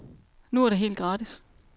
Nu er det helt gratis.